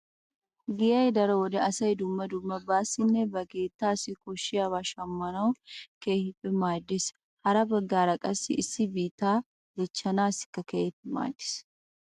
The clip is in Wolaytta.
Giyay daro wode asay dumma dumma baassinne ba keettaassi koshshiyabaa shammanawu keehippe maaddees. Hara baggaara qassi issi bittaa dichchaassikka keehi maaddees.